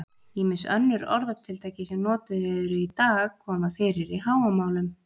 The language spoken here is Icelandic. Ýmis önnur orðatiltæki sem notuð eru í dag koma fyrir í Hávamálum.